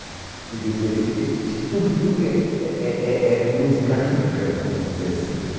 Quer dizer, esse eh tungue-tungue é é é é música africana, vamos dizer assim, né?